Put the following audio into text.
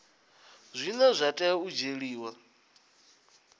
zwine zwa tea u dzhielwa